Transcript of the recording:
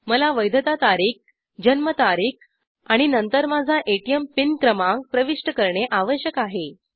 मला वैधता तारीख जन्म तारीख आणि नंतर माझा एटीएम पिन क्रमांक प्रविष्ट करणे आवश्यक आहे